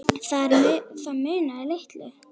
Þar munaði litlu.